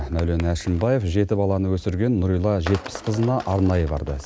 мәулен әшімбаев жеті баланы өсірген нұрила жетпісқызына арнайы барды